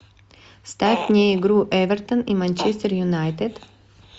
ставь мне игру эвертон и манчестер юнайтед